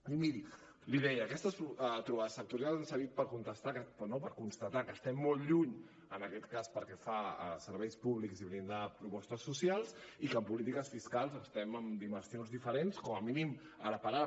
i miri li deia aquestes trobades sectorials han servit per constatar que estem lluny en aquest cas pel que fa a serveis públics i blindar propostes socials i que en polítiques fiscals estem en dimensions diferents com a mínim ara per ara